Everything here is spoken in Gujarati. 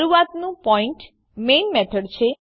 શરૂઆતનું પોઈન્ટ મેઇન મેથડ છે